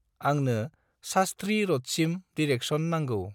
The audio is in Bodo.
आंनो सास्थ्रि रडसिम डिरेकसन नांगौ।